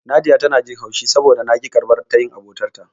Nadiya tana jin haushi saboda na ƙi karɓar tayin abotarta.